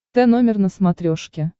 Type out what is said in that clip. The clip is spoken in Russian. тномер на смотрешке